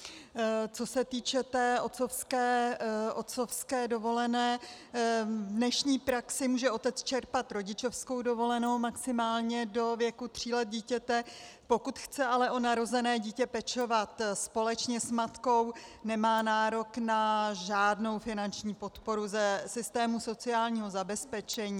Co se týče té otcovské dovolené, v dnešní praxi může otec čerpat rodičovskou dovolenou maximálně do věku tří let dítěte, pokud chce ale o narozené dítě pečovat společně s matkou, nemá nárok na žádnou finanční podporu ze systému sociálního zabezpečení.